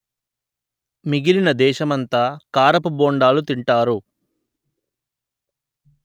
మిగిలిన దేశమంతా కారపు బోండాలు తింటారు